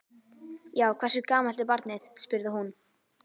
Já, hversu gamalt er barnið? spurði hún.